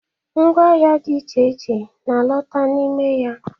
Ngwa ahịa dị iche iche na alota n'ime ya.